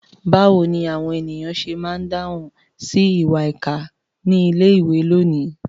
Báwo ni àwọn ènìyàn ṣe máa ń dáhùn sí ìwà ìkà ní ilé-ìwé lónìí?